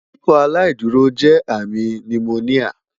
Ikọaláìdúró jẹ ami ti pneumonia